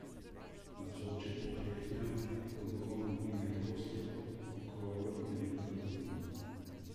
Navzoči pokleknejo, ko duhovnik dvigne hostijo, okroglo in bledo kot luna.